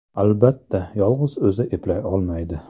Albatta, yolg‘iz o‘zi eplay olmaydi.